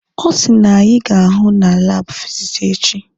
Ọ sị na anyị ga-ahụ na laabụ fizikisi echi.